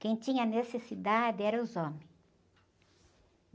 Quem tinha necessidade eram os homens.